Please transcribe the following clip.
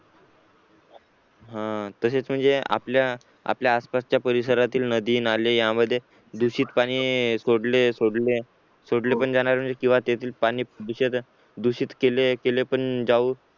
तसेच म्हणजे आपल्या आपल्या आसपासच्या परिसरातील नदी नाले त्यामध्ये दूषित पाणी सोडले सोडले सोडले पण जाणार म्हणजे त्यातील पाणी दूषित केले केले पण जाऊ